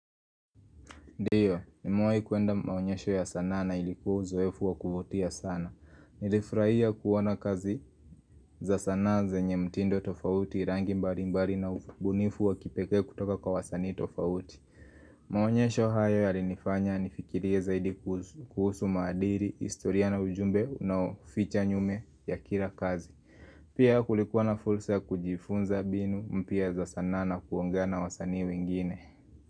Ndiyo, ni mewai kuenda maonyesho ya sanaa na ilikuwa zoefu wa kuvutia sana. Nilifurahia kuona kazi za sanaa zenye mtindo tofauti rangi mbali mbali na ugunifu wa kipeke kutoka kwa wasani tofauti. Maonyesho haya ya rinifanya nifikiria zaidi kuhusu maadiri, historia na ujumbe na uficha nyume ya kila kazi. Pia kulikuwa na fursa ya kujifunza mbinu mpya za sana na kuongea na wasanii wengine.